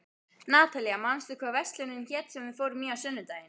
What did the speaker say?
Natalía, manstu hvað verslunin hét sem við fórum í á sunnudaginn?